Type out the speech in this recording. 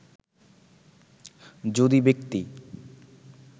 যদি ব্যক্তি